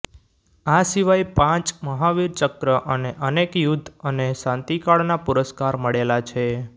આ સિવાય પાંચ મહાવીર ચક્ર અને અનેક યુદ્ધ અને શાંતિકાળના પુરસ્કાર મળેલા છે